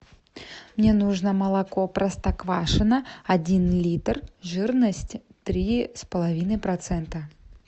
мне нужно молоко простоквашино один литр жирность три с половиной процента